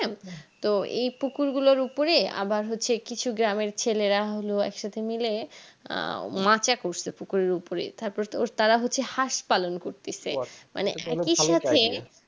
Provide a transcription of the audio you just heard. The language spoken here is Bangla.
তো এই পুকুর গুলোর উপরে আবার হচ্ছে কিছু গ্রামে ছেলেরা হলো একসাথে মিলে আহ মাচা করছে পুকুরের উপরে তারপর তো তারা হচ্ছে হাঁস পালন করতেছে মানে